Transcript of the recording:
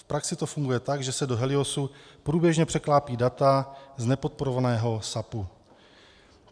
V praxi to funguje tak, že se do HELIOSu průběžně překlápějí data z nepodporovaného SAPu.